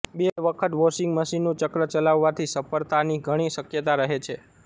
બે વખત વોશિંગ મશીનનું ચક્ર ચલાવવાથી સફળતાની ધણી શક્યતા રહે છે